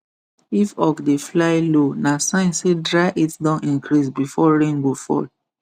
if hawk dey fly low na sign say dry heat don increase before rain go fall